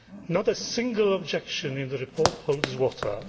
Not a single objection in the report holds water.